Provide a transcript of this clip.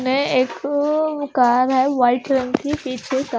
नए एक कार है वाइट रंग की पीछे का--